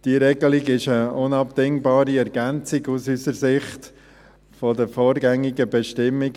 Diese Regelung ist aus unserer Sicht eine unabdingbare Ergänzung der vorgängigen Bestimmungen.